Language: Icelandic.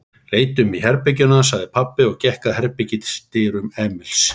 Leitum í herberginu hans, sagði pabbi og gekk að herbergisdyrum Emils.